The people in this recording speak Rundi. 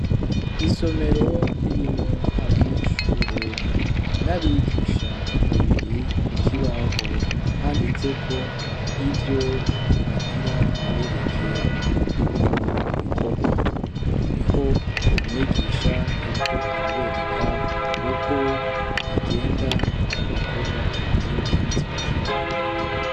isomero ririmwo abanyeshure na bigisha babiri kukibaho handitseko ivyo bagira babereke mu bikorwa niho umwigisha yariko arabereka uko bigenda ibikorwa atari ivyanditse kukibaho